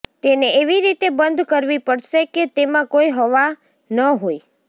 તેને એવી રીતે બંધ કરવી પડશે કે તેમાં કોઈ હવા ન હોય